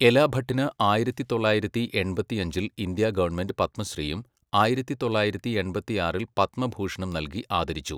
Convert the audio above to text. എലാ ഭട്ടിന് ആയിരത്തി തൊള്ളായിരത്തി എൺപത്തിയഞ്ചിൽ ഇന്ത്യാ ഗവൺമെന്റ് പത്മശ്രീയും ആയിരത്തി തൊള്ളായിരത്തി എൺപത്തിയാറിൽ പത്മഭൂഷണും നൽകി ആദരിച്ചു.